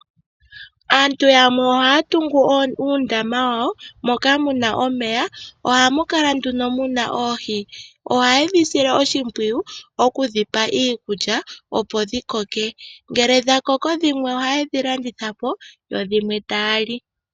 Aantu yamwe oha ya tungu uundama wa wo moka muna omeya nohamu kala muna oohi, no ha ye dhi sile oshipwiyu oku dhipa iikulya opo dhi koke. Ngele dha koko dhimwe oha ye dhi landithapo yo dhimwe ta ya li.